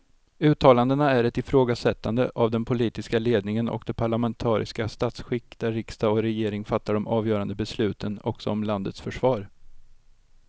Uttalandena är ett ifrågasättande av den politiska ledningen och det parlamentariska statsskick där riksdag och regering fattar de avgörande besluten också om landets försvar.